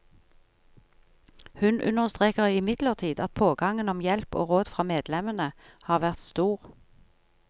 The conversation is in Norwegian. Hun understreker imidlertid at pågangen om hjelp og råd fra medlemmene har vært stor.